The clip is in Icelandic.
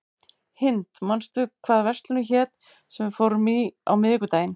Hind, manstu hvað verslunin hét sem við fórum í á miðvikudaginn?